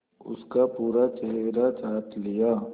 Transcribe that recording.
उसका पूरा चेहरा चाट लिया